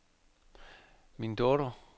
Mindoro